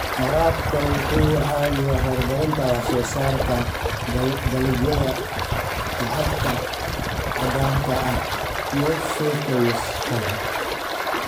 Waraabka wuxuu caawiyaa horumarinta wax soo saarka dalagyada lacagta caddaanka ah sida suufka iyo shaaha.